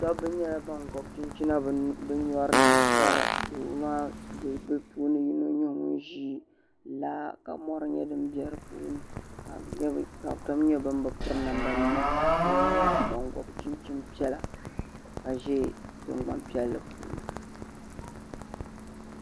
dɔbba nyɛla ban gɔbi chinchina bɛ nyɔri ni ka doo maa ka bɛ puuni yino nyɛ ŋun ʒi laa ka mɔri nyɛ din be di puuni ka bɛ tom nyɛ ban bi piri namdanima ka kuli nyɛla ban gɔbi chinchim piɛla ka ʒe tiŋgbani piɛlli puuni